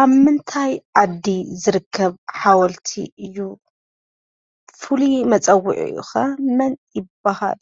ኣብ ምንታይ ዓዲ ዝርከብ ሓወልቲ እዩ? ፍሉይ መፀዊዑኡ ኸ መን ይባሃል?